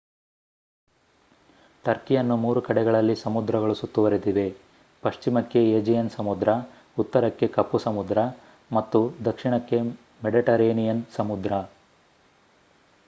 ಟರ್ಕಿಯನ್ನು 3 ಕಡೆಗಳಲ್ಲಿ ಸಮುದ್ರಗಳು ಸುತ್ತುವರೆದಿವೆ ಪಶ್ಚಿಮಕ್ಕೆ ಏಜಿಯನ್ ಸಮುದ್ರ ಉತ್ತರಕ್ಕೆ ಕಪ್ಪು ಸಮುದ್ರ ಮತ್ತು ದಕ್ಷಿಣಕ್ಕೆ ಮೆಡಿಟರೇನಿಯನ್ ಸಮುದ್ರ